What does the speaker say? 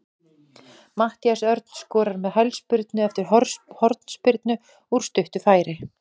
Matthías Örn skorar með hælspyrnu eftir hornspyrnu úr stuttu færi.